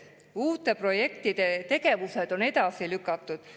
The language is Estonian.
Uute projektide tegevused on edasi lükatud.